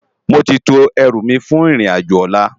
Móti tó èrú mi fún irin ájò òlá